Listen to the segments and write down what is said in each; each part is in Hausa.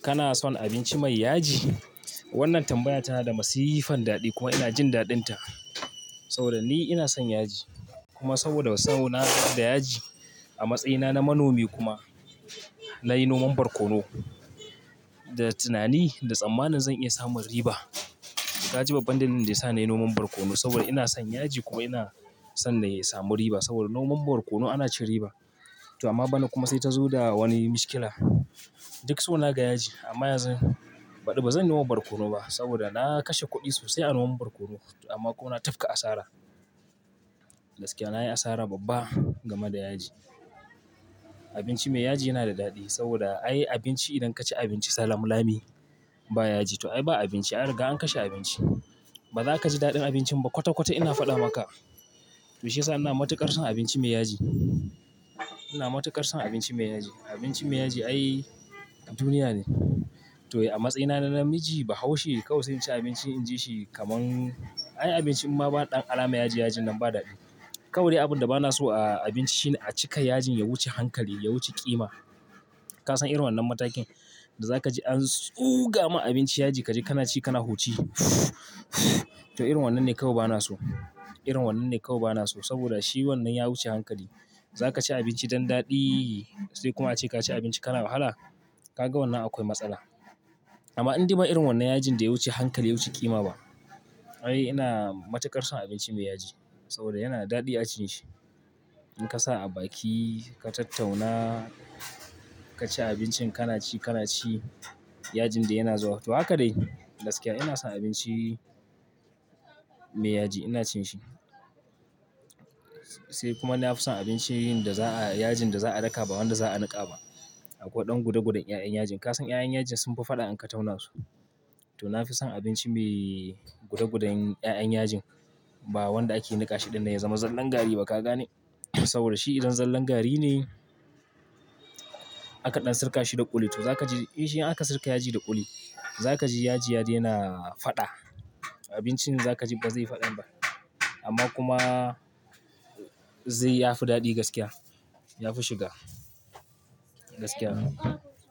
Kana son abinci mai yaji? Wannan tambaya tana da masifan daɗi kuma ina jin daɗinta. Saboda ni ina son yaji kuma saboda sona da yaji, a matsayina na manomi kuma na yi noman barkono da tunani da tsammanin zan iya samun riba. To ka ji babban dalilin da ya sa na yi noman barkono saboda ina son yaji kuma ina son na samu riba saboda noman barkono ana cin riba. To amma bana kuma sai ta zo da wani mushkila. Duk so na ga yaji amma yanzu baɗi bazan yi noman barkono ba saboda na kashe kuɗi sosai a noman barkono amma kuma na tafka asara. Gaskiya na yi asara babba game da yaji. Abinci mai yaji yana da daɗi saboda ai abinci idan ka ci abinci salam lami ba yaji. To ai ba abinci, ai an riga an kashe abinci. Ba za ka ji daɗin abincin ba kwata kwata ina faɗa maka. To shi ya sa ina matuƙar son abinci mai yaji. Ina matuƙar son abinci mai yaji. Abinci mai yaji ai duniya ne. To a matsayina na namiji Bahaushe kawai sai in ci abinci in ji shi kaman ai abinci in ba ɗan alama yaji-yajin nan ba daɗi. Kawai dai abin da bana so a abinci shine a cika yajin ya wuce hankali, ya wuce ƙima. Kasan irin wannan matakin da za ka ji an tsuga ma abinci yaji ka ji kana ci kana huci. To irin wannan ne kawai bana so. Irin wannan ne kawai bana so saboda shi wannan ya wuce hankali. Za ka ci abinci don daɗi sai kuma ace ka ci abinci kana wahala, ka ga wannan akwai matsala. Amma indai ba irin wannan yajin da ya wuce hankali, ya wuce ƙima ba, ai ina matuƙar son abinci mai yaji saboda yana da daɗi a cin shi. In ka sa a baki ka tattauna, ka ci abincin ka na ci, ka na ci yajin da yana zuwa. To haka dai gaskiya ina son abinci mai yaji, ina cin shi. Sai kuma na fi son abincin da za a, yajin da za a daka ba wanda za a niƙa ba. Akwai ɗan guda gudan ƴaƴan yajin. Kasan ƴaƴan yajin sun fi faɗa in ka tauna su. To na fi son abinci mai guda gudan ƴaƴan yajin ba wanda ake niƙa shi don ya zama zallan gari ba ka gane? Saboda shi idan zallan gari ne aka ɗan sirka shi da ƙuli. To zakaji in shi aka sirka yaji da ƙuli, za ka ji yaji ya daina faɗa. Abincin za ka ji ba zai faɗa ba amma kuma zai ya fi daɗi gaskiya. Ya fi shiga. Gaskiya.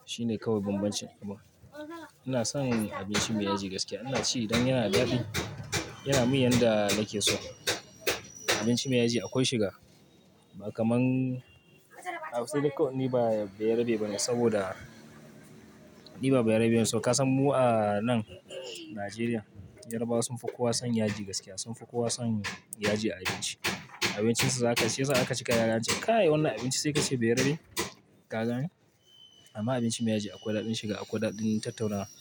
Shi ne kawai babbancin abincin kuma. Ina son abinci mai yaji gaskiya. Ina ci dan yana da daɗi, yana min yanda nake so. Abinci mai yaji akwai shiga ba kaman, sai dai kawai ni ba ɓayarabe bane saboda ni ba ɓayarabe bane, so Kasan mu a nan Najeriya yarbawa sun fi kowa son yaji gaskiya. Sun fi kowa son yaji a abinci. Abincin su za ka ji shi yasa in aka cika zakaga ance kai wannan abinci sai ka ce bayarabe, ka gane? Amma abinci mai yaji akwai daɗin shiga akwai daɗin tattaunawa.